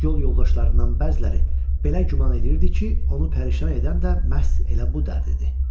Yol yoldaşlarından bəziləri belə güman eləyirdi ki, onu pərişan edən də məhz elə bu dərdidir.